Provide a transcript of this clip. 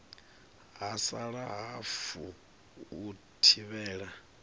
ha sala hafu u thivhela